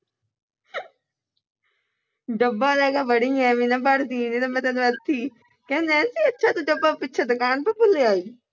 ਡੱਬਾ ਲੈਕੇ ਬੜੀ ਐ ਐਵੇਂ ਨਾ ਭਰ ਦੀ ਕਹਿ ਨੈਨਸੀ ਅੱਛਾ ਤੂੰ ਡੱਬਾ ਪਿਛੋਂ ਦੁਕਾਨ ਤੋਂ ਭੁੱਲ ਆਈ